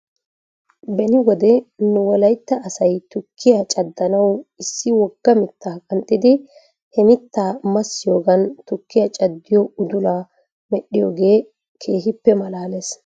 Beni wode nu wolaytta asa tukkiyaa caddanaw issi wogga mittaa qanxxidi he mittaa massiyoogan tkkiyaa caddiyoo udulaa medhdhiyoogee keehippe malaales.